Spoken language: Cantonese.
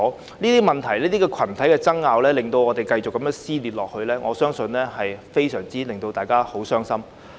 如果這些問題和群體爭拗令社會繼續撕裂，我相信會令大家非常傷心。